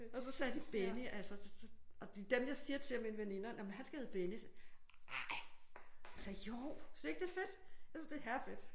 Og så sagde de Benny altså og dem jeg siger til af mine veninder jamen han skal hedde Benny. Ej. Altså jo. Synes du ikke det er fedt? Jeg synes det er herrefedt